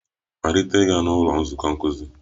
Malite ịga n'ụlọ nzukọ nkuzi!